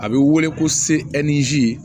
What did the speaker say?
A bɛ wele ko se ɛkizi